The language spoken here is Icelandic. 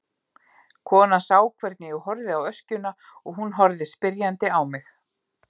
Konan sá hvernig ég horfði á öskjuna og hún horfði spyrjandi á mig.